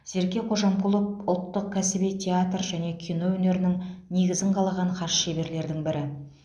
серке кожамқұлов ұлттық кәсіби театр және кино өнерінің негізін қалаған хас шеберлердің бірі